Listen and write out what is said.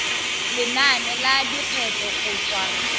lenane la lekgetho go tswa